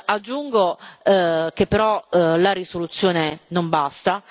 Aggiungo che però la risoluzione non basta.